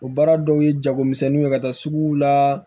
O baara dɔw ye jagomisɛnninw ye ka taa suguw la